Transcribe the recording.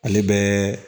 Ale bɛ